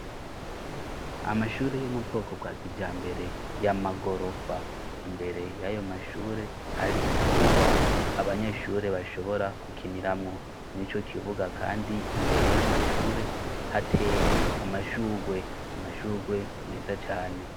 Amashure yo mu bwoko bwa kija mbere y'amagorofa imbere y'ayo mashure hari ikibuga abanyeshure bashobora kukiniramwo ni co kibuga, kandi imbere y'amashure hateye amashurwe imashurwe meza cane.